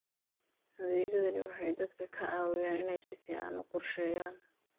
Adeegyadani waxay dadka ka caawiyaan inay si fiican u qorsheeyaan.